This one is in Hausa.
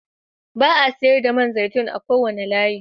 Ba a sayar da man zaitun a wannan layin